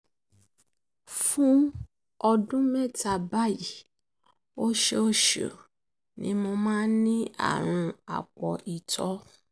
fún ọdún mẹ́ta bàyìí oṣooṣù mẹ́fà ni mo máa ń ní àrùn àpò ìtọ̀